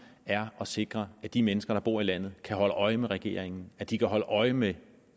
er at sikre at de mennesker der bor i landet kan holde øje med regeringen at de kan holde øje med